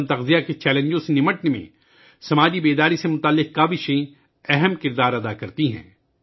سماجی بیداری کی کوششیں تغذیہ کی قلت کے چیلنجوں سے نمٹنے میں اہم کردار ادا کرتی ہیں